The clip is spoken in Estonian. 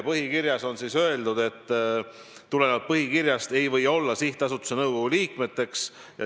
Põhikirjas on öeldud, et tulenevalt põhikirjast ei või olla sihtasutuse nõukogu liikmeteks ...